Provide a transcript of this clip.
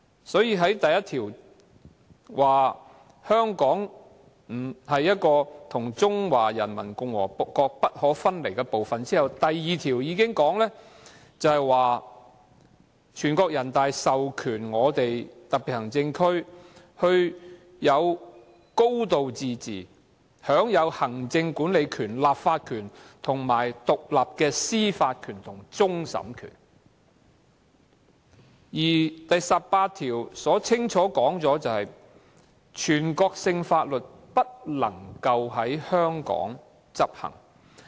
所以，《基本法》第一條訂明，香港特別行政區是中華人民共和國不可分離的部分；第二條訂明，全國人民代表大會授權香港特別行政區實行"高度自治"，享有行政管理權、立法權、獨立的司法權和終審權；而第十八條亦清楚訂明，全國性法律不能在香港執行。